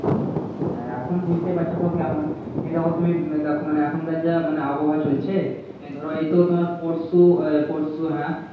হ্যাঁ এখন বুঝতেই পারছো সব কেমন এই দেখো তুমি দেখো মানে এখনকার যা মানি আবহাওয়া চলছে এই ধরো এইতো তোমার পরশু আহ পরশু হ্যাঁ